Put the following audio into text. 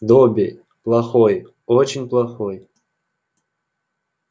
добби плохой очень плохой